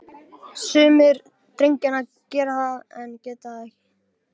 Sumir drengjanna gera það, en ég get það ekki.